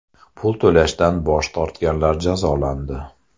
Pul to‘lashdan bosh tortganlar jazolandi.